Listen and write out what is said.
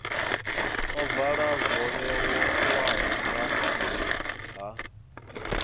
ovala zwo vhewaho nga nha